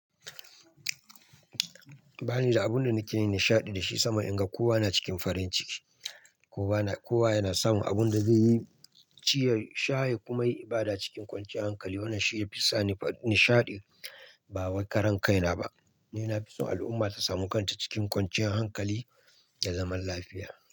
Ba ni da abin da nake nishaɗi da shi sama in ga kowa na cikin farin ciki. Kowa yana samun abin da zai yi ciyar shaye ya kuma yi ibada cikin kwanciyar hankali. Wannan shine ya fi sa ni nishaɗi. Ba wai karan kaina ba. Ni na fi son al'umma ta samu kanta cikin kwanciyar hankali da zaman lafiya.